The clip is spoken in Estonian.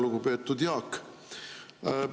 Lugupeetud Jaak!